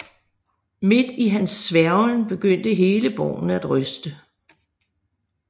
Midt i hans sværgen begyndte hele borgen at ryste